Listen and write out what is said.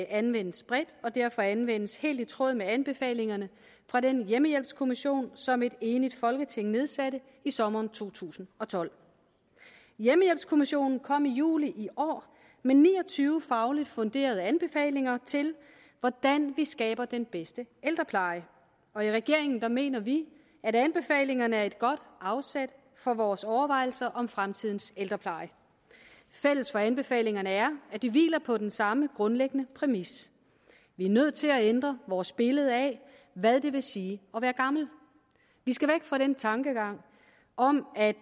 anvendes bredt og derfor anvendes helt i tråd med anbefalingerne fra den hjemmehjælpskommission som et enigt folketing nedsatte i sommeren to tusind og tolv hjemmehjælpskommissionen kom i juli i år med ni og tyve fagligt funderede anbefalinger til hvordan vi skaber den bedste ældrepleje og i regeringen mener vi at anbefalingerne er et godt afsæt for vores overvejelser om fremtidens ældrepleje fælles for anbefalingerne er at de hviler på den samme grundlæggende præmis vi er nødt til at ændre vores billede af hvad det vil sige at være gammel vi skal væk fra den tankegang om at